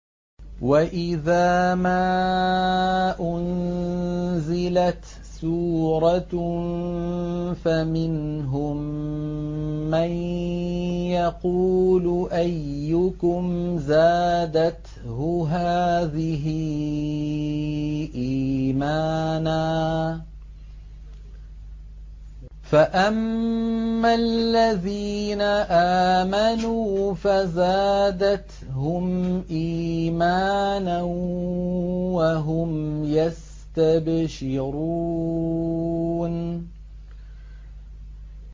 وَإِذَا مَا أُنزِلَتْ سُورَةٌ فَمِنْهُم مَّن يَقُولُ أَيُّكُمْ زَادَتْهُ هَٰذِهِ إِيمَانًا ۚ فَأَمَّا الَّذِينَ آمَنُوا فَزَادَتْهُمْ إِيمَانًا وَهُمْ يَسْتَبْشِرُونَ